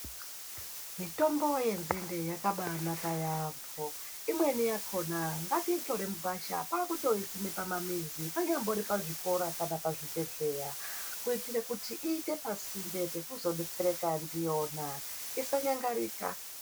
Mitombo yenzinde yakabanaka yambo Imweni yakona ngatiitore mugwasha kwakuisima pamamizi panyari pazvikora kana pazvibhedhlera kuitira kuti iite pasinde pekuzodetsereka ndiyona isanyangarika.